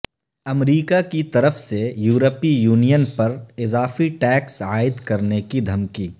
امریکا کی طرف سے یورپی یونین پر اضافی ٹیکس عائد کرنے کی دھمکی